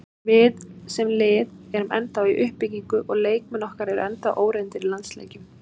Við, sem lið, erum ennþá í uppbyggingu og leikmenn okkar eru ennþá óreyndir í landsleikjum.